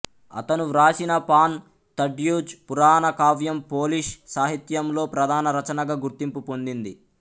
అతను వ్రాసిన Pan Tadeusz పురాణ కావ్యం పోలిష్ సాహిత్యంలో ప్రధాన రచనగా గుర్తింపు పొందింది